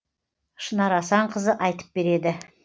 шынар асанқызы айтып береді